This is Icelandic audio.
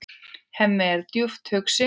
Hemmi er djúpt hugsi.